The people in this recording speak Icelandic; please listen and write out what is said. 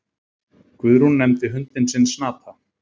Guðrún nefndi hundinn sinn Snata.